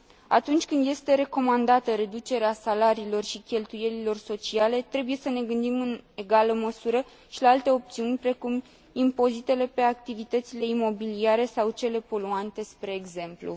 Atunci când este recomandată reducerea salariilor și cheltuielilor sociale, trebuie să ne gândim în egală măsură și la alte opțiuni, precum impozitele pe activitățile imobiliare sau cele poluante, spre exemplu.